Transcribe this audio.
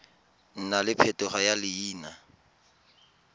nna le phetogo ya leina